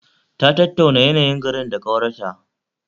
Ta tattauna yayanyin garin da ƙawarta